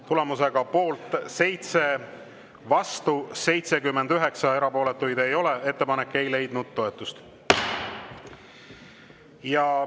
Tulemusega poolt 7, vastu 79 ja erapooletuid ei ole, ei leidnud ettepanek toetust.